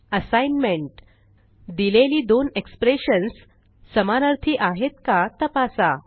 assignment दिलेली दोनexpressions समानअर्थी आहेत का तपासा